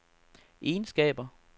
egenskaber